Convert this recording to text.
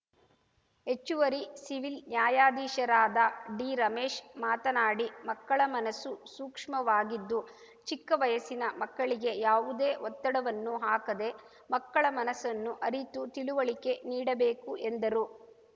ಹೆಚ್ಚುವರಿ ಸಿವಿಲ್‌ ನ್ಯಾಯಾಧೀಶರಾದ ಡಿರಮೇಶ್‌ ಮಾತನಾಡಿ ಮಕ್ಕಳ ಮನಸ್ಸು ಸೂಕ್ಷ್ಮ ವಾಗಿದ್ದು ಚಿಕ್ಕ ವಯಸ್ಸಿನ ಮಕ್ಕಳಿಗೆ ಯಾವುದೇ ಒತ್ತಡ ವನ್ನು ಹಾಕದೆ ಮಕ್ಕಳ ಮನಸ್ಸನ್ನು ಅರಿತು ತಿಳುವಳಿಕೆ ನೀಡಬೇಕು ಎಂದರು